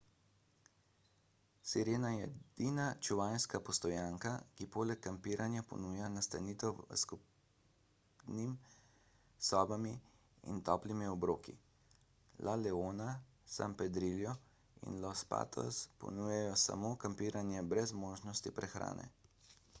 sirena je edina čuvajska postojanka ki poleg kampiranja ponuja nastanitev s skupnimi sobami in toplimi obroki la leona san pedrillo in los patos ponujajo samo kampiranje brez možnosti prehrane